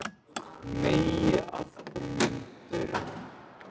Megi afkomendur þínir lifa meir og lifa lengur.